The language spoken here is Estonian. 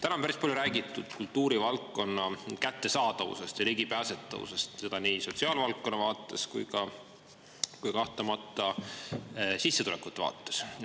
Täna on päris palju räägitud kultuurivaldkonna kättesaadavusest ja ligipääsetavusest, seda nii sotsiaalvaldkonna vaates kui ka kahtlemata sissetulekute vaates.